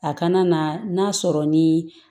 A kana na n'a sɔrɔ ni